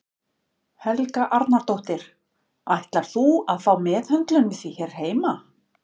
Helga Arnardóttir: Ætlar þú að fá meðhöndlun við því hér heima?